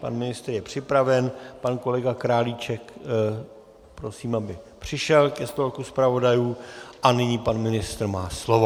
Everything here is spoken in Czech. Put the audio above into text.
Pan ministr je připraven, pan kolega Králíček - prosím, aby přišel ke stolku zpravodajů, a nyní pan ministr má slovo.